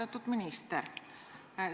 Austatud minister!